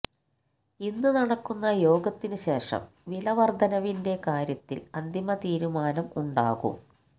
ഇന്ന് നടക്കുന്ന യോഗത്തിന് ശേഷം വിലവർധനവിന്റെ കാര്യത്തിൽ അന്തിമ തീരുമാനം ഉണ്ടാകും